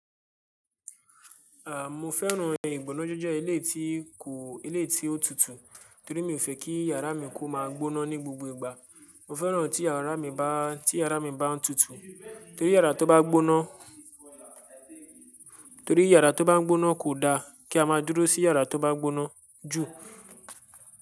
À, mo fẹ́ràn ìgbónájẹjẹ iléyi tí kò iléyi tí ó tutù, torí mi ò fẹ́ kí yàrá mi kó máa gbóná ní gbogbo ìgbà. Mo fẹ́ràn tí yàrá mi bá tí yàrá mi bá ń tutù, torí yàrá tó bá gbóná torí yàrá tó bá ń gbóná kò da kí a máa dúró sí yàrá tó bá ń gbóná jù.